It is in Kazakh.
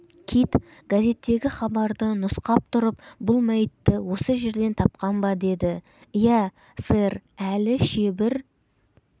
кит газеттегі хабарды нұсқап тұрып бұл мәйітті осы жерден тапқан ба деді иә сэр әлі шебір